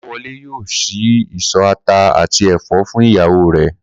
Kó̩láwo̩lé yóò s̩í ìsò̩ ata àti è̩fó̩ fún ìyàwó rè̩